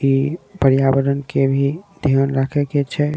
इ पर्यावरण के भी ध्यान रखे के छै।